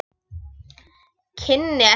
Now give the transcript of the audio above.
Kynni ekkert.